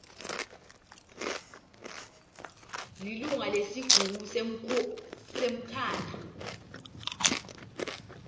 lilunga lesigungu semkhandlu